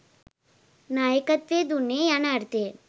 නායකත්වය දුන්නේය යන අර්ථයෙන්